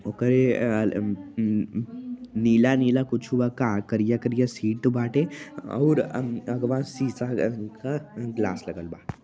ओकरे अं ल् म्म् नीला-नीला कुछू बा का करिया-करिया सीट बाटे और अं आगवा शीशा अह् क ग्लास लगल बा।